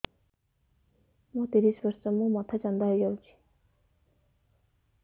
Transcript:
ମୋ ତିରିଶ ବର୍ଷ ମୋ ମୋଥା ଚାନ୍ଦା ହଇଯାଇଛି